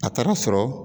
A taara sɔrɔ